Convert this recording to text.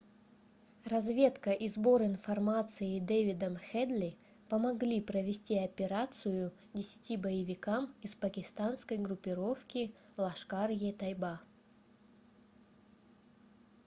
разведка и сбор информации дэвидом хедли помогли провести операцию 10 боевикам из пакистанской группировки лашкар-е-тайба